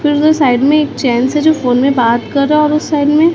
दोनों साइड में एक चैन से जो फोन में बात कर और उस साइड में--